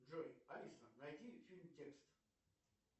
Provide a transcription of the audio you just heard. джой алиса найди фильм текст